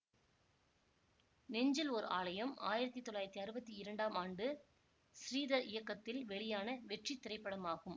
நெஞ்சில் ஓர் ஆலயம் ஆயிரத்தி தொள்ளாயிரத்தி அறுவத்தி இரண்டாம் ஆண்டு ஸ்ரீதர் இயக்கத்தில் வெளியான வெற்றித்திரைப்படமாகும்